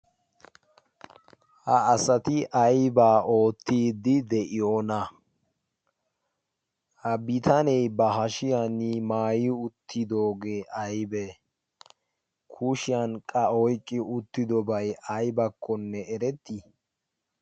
ha asati aibaa oottidi de7iyoona? ha bitanee ba hashiyan maayi uttidoogee aibee? kushiyanqqa oiqqi uttidobai aibakkonne erettii?